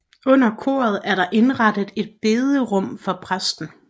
Under koret er der indrettet et bederum for præsten